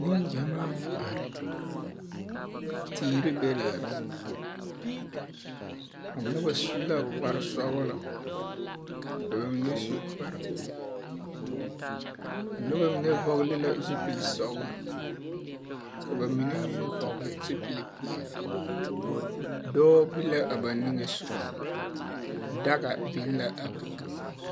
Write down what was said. Neŋgyamaa la are. Teere be la a be. A noba su la kpare sɔgelɔ, ka ba mine su kpare peɛle. A noba mine vɔgele la zupili sɔgelɔ, ka ba mine vɔgele zupili dɔɔ be la a ba niŋe soga daga biŋ la a be.